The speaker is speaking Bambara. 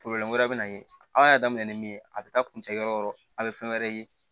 wɛrɛ bɛ na ye aw y'a daminɛ ni min ye a bɛ taa kuncɛ yɔrɔ yɔrɔ yɔrɔ a bɛ fɛn wɛrɛ ye